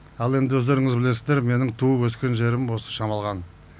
ал енді өздеріңіз білесіздер менің туып өскен жерім осы шамалған